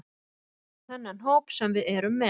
Við erum með þennan hóp sem við erum með.